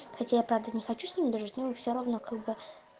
хотя я правда не хочу с ним дружить но мы всё равно как бы